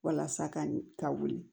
Walasa ka wuli